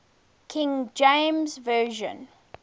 king james version